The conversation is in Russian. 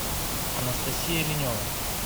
анастасия линева